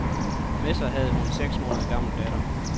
Med sig havde hun sin seks måneder gamle datter.